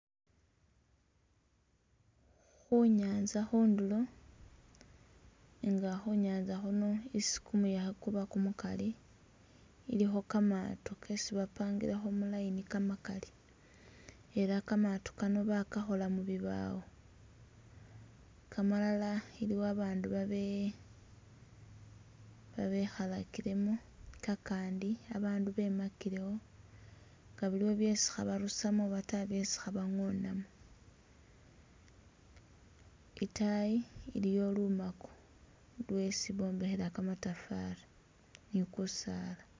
Khunyanza khundulo nga Khunyanza khuno isi kumuyekhe Kuba kumukali ilikho kamaato kesi bapangilekho mu line kamakali ela kamaato kano bakakhola mubibawo, kamalala iliwo abandu babe babekhalakilemo, kakandi abandu bemakilewo nga biliwo byesi khabarusamo oba ta byesi khabangonamo, itaayi iliyo lumako lwesi bombekhela kamatafari ni kusaala